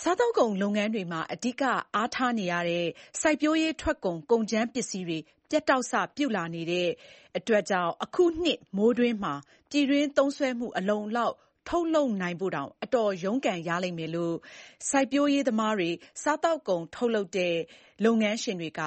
စားသောက်ကုန်လုပ်ငန်းတွေမှာ အဓိကအားထားနေရတဲ့ စိုက်ပျိုးရေးထွက်ကုန် ကုန်ကြမ်းပစ္စည်းတွေ ပြတ်တောက် စ ပြုလာတဲ့အတွက် အခုနှစ်မိုးတွင်းမှာ ပြည်တွင်းသုံးစွဲမှု အလုံအလောက် ထုတ်လုပ်နိုင်ဖို့တောင် အတော်ရုန်းကန်ရလိမ့်မယ်လို့ စိုက်ပျိုးရေးသမားတွေ၊ စားသောက်ကုန် ထုတ်လုပ်တဲ့ လုပ်ငန်းရှင်တွေက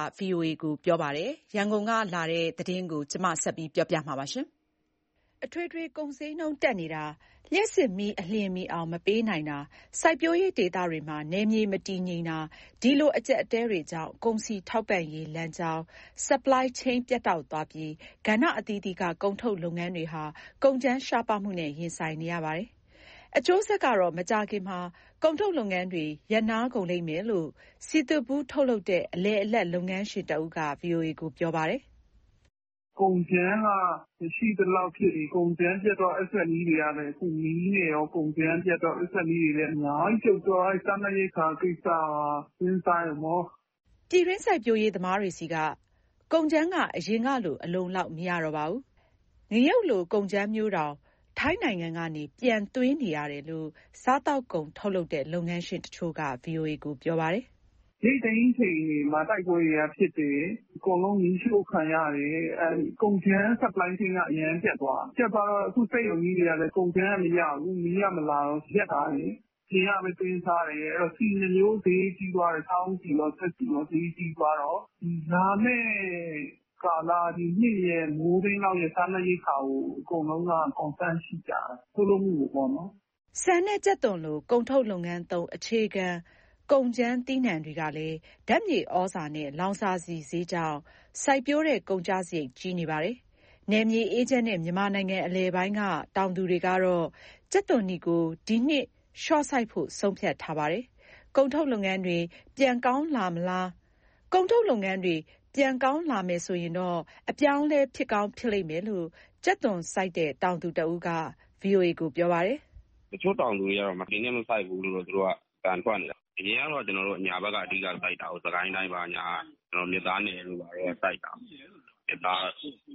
ပြောပါတယ်။ ရန်ကုန်ကပေးပို့တဲ့ ဒီသတင်းအပြည့်အစုံကို ကိုသားညွန့်ဦးက တင်ပြပေးထားပါတယ်။ အထွေထွေကုန်ဈေးနှုန်း တက်နေတာ၊ လျှပ်စစ်မီး အလျင်မီအောင် မပေးနိုင်တာ၊ စိုက်ပျိုးရေးဒေသတွေမှာ နယ်မြေ မတည်ငြိမ်တာ ဒီလို အကြပ်အတည်းတွေကြောင့် ကုန်စည်ထောက်ပံ့ရေး လမ်းကြောင်း ပြတ်တောက်သွားပြီး ကဏ္ဍအသီးသီးက ကုန်ထုတ်လုပ်ငန်းတွေဟာ ကုန်ကြမ်းရှားပါးမှုနဲ့ ရင်ဆိုင်နေရပါတယ်။ အကျိုးဆက်ကတော့ မကြာခင်မှာ ကုန်ထုတ်လုပ်ငန်းတွေ ရပ်နားကုန်လိမ့်မယ်လို့ စည်သွပ်ဘူးထုတ်လုပ်တဲ့ အလယ်အလတ် လုပ်ငန်းရှင်တဦးက ဗွီအိုအေကို ပြောပါတယ်။ “ကုန်ကြမ်းက မရှိသလောက်ဖြစ်ပြီး ကုန်ကြမ်းပြတ်တော့ SME ( အသေးစား၊ အလတ်စား လုပ်ငန်း) တွေကလည်း ငြီးနေရော ကုန်ကြမ်းပြတ်တော့။ SME တွေလည်း အများကြီးပြုတ်တော့ စားနပ်ရိက္ခာကိစ္စက ထမင်းစားရုံပေါ့။” ပြည်တွင်း စိုက်ပျိုးရေးသမားတွေဆီက ကုန်ကြမ်းက အရင်ကလို အလုံအလောက် မရတော့ပါဘူး။ ငရုတ်လို ကုန်ကြမ်းမျိုးတောင် ထိုင်းနိုင်ငံကနေ ပြန်သွင်းနေရတယ်လို့ စားသောက်ကုန် ထုတ်လုပ်တဲ့ လုပ်ငန်းရှင်တချို့က ဗွီအိုအေ ကို ပြောပါတယ်။ “ရိတ်သိမ်းချိန်တွေမှာ တိုက်ပွဲတွေကဖြစ်တယ်။ အကုန်လုံး မီးရှို့ခံရတယ်။ ကုန်ကြမ်း supply chain က အရမ်းပြတ် သွားတယ်။ အခုစက်ရုံကြီးတွေက ကုန်ကြမ်းကမရဘူး။ မီးကမလာတော့ ရပ်ထားတယ်၊ အပြင်ကပဲ သွင်းစားတယ်။ အဲဒီတော့ ဆီနှစ်မျိုး ဈေးကြီးသွားတယ်။ စားအုန်းဆီရော၊ စက်ဆီရော ဈေးကြီးသွားတော့ လာမယ့် ဒီနှစ်မိုးတွင်းရဲ့ စားနပ်ရိက္ခာကို အကုန်လုံးက concern ရှိကြတယ်။ ထုတ်လုပ်မှုကိုပေါ့နော်။” ဆန်နဲ့ ကြက်သွန်လို ကုန်ထုတ်လုပ်ငန်းသုံး အခြေခံကုန်ကြမ်း သီးနှံတွေကလည်း ဓာတ်မြေဩဇာနဲ့ လောင်စာဆီဈေးကြောင့် စိုက်ပျိုးတဲ့ ကုန်ကျစရိတ် ကြီးနေပါတယ်။ နယ်မြေမအေးချမ်းတဲ့ မြန်မာနိုင်ငံအလယ်ပိုင်းက တောင်သူတွေကတော့ ကြက်သွန်နီကို ဒီနှစ်လျှော့စိုက်ဖို့ ဆုံးဖြတ်ထားပါတယ်။ ကုန်ထုတ်လုပ်ငန်းတွေ ပြန်ကောင်းလာမယ်ဆိုရင်တော့ အပြောင်းအလဲ ဖြစ်ကောင်းဖြစ်လိမ့်မယ်လို့ ကြက်သွန်စိုက်တဲ့ တောင်သူတဦးက ဗွီအိုအေကို ပြောပါတယ်။ "တချို့တောင်သူတွေကတော့ ဒီနှစ်မစိုက်ဘူးလို့ အသံထွက်နေတာ။ အရင်က ကျနော်တို့အညာက အဓိကစိုက်တာကိုး။ စစ်ကိုင်းတိုင်း ဘာညာက မြစ်သားနယ်တို့က စိုက်တာ။ ဒါ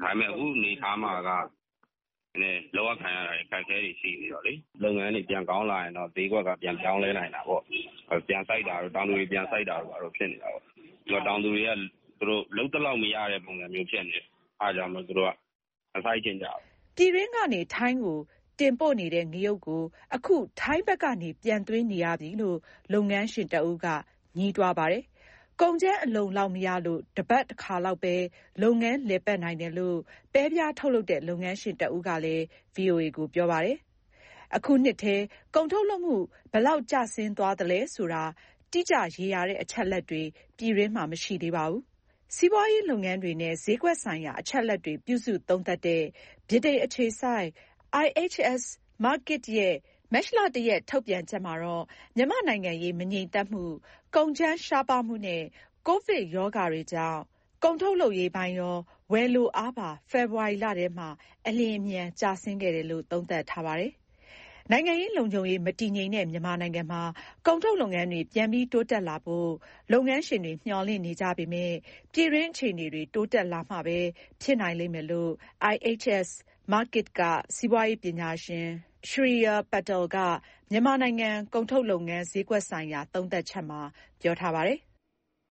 ပေမယ့် အခုအနေအထားမှာက နည်းနည်း လုပ်ရကိုင် ရတာတွေ အခက်အခဲတွေ ရှိနေတော့လေ။ လုပ်ငန်းတွေ ပြန်ကောင်းလာရင်တော့ ဈေးကွက်က ပြန်ပြောင်းလဲနိုင်တာပေါ့။ တောင်သူတွေ ပြန်စိုက်တာတို့ ဘာတို့ ဖြစ်နိုင်တာကိုး။ တောင်သူတွေက လုပ်သလောက်မရတဲ့ ပုံစံမျိုးဖြစ်နေတော့ အဲဒါမို့ မစိုက်ချင်ကြဘူး။" ပြည်တွင်းကနေ ထိုင်းကိုတင်ပို့နေတဲ့ ငရုပ်ကို အခုထိုင်းဘက်ကနေ ပြန်သွင်းနေရပြီလို့ လုပ်ငန်းရှင်တဦးက ငြီးတွားပါတယ်။ ကုန်ကြမ်း အလုံအလောက်မရလို့ တပတ်တခါလောက်ပဲ လုပ်ငန်းလည်ပတ်နိုင်တယ်လို့ ပဲပြားထုတ်လုပ်တဲ့ လုပ်ငန်းရှင်တဦးကလည်း ဗွီအိုအေကို ပြောပါတယ်။ အခုနှစ်ထဲ ကုန်ထုတ်လုပ်မှု ဘယ်လောက်ကျဆင်းသွားလဲဆိုတာ တိကျရေရာတဲ့ အချက်အလက်တွေ ပြည်တွင်းမှာ မရှိသေးပါဘူး။ စီးပွားရေးလုပ်ငန်းတွေနဲ့ ဈေးကွက်ဆိုင်ရာ အချက်အလက်တွေ ပြုစုသုံးသပ်တဲ့ ဗြိတိန် အခြေစိုက် IHS Markit ရဲ့ မတ်လ၁ရက် ထုတ်ပြန်ချက်မှာတော့ မြန်မာ့နိုင်ငံရေး မငြိမ်သက်မှု၊ ကုန်ကြမ်းရှားပါးမှုနဲ့ ကိုဗစ်ကပ်ရောဂါတို့ကြောင့် ကုန်ထုတ်လုပ်ရေးပိုင်းရော၊ ဝယ်လိုအားပါ ဖေဖော်ဝါရီလထဲမှာ အလျင်အမြန် ကျဆင်းခဲ့တယ်လို့ သုံးသပ်ထားပါတယ်။ နိုင်ငံရေး လုံခြုံရေး မတည်ငြိမ်တဲ့ မြန်မာနိုင်ငံမှာ ကုန်ထုတ်လုပ်ငန်းတွေ ပြန်လည်တိုးတက်လာဖို့ လုပ်ငန်းရှင်တွေ မျှော်လင့်နေကြပေမယ့် ပြည်တွင်းအခြေအနေတွေ တိုးတက်လာမှပဲ ဖြစ်နိုင်လိမ့်မယ်လို့ IHS Markit က စီးပွားရေးပညာရှင် Shreeya Patel က မြန်မာနိုင်ငံက ကုန်ထုတ်လုပ်ငန်း ဈေးကွက်ဆိုင်ရာ သုံးသပ်ချက်မှာ ပြောထားပါတယ်။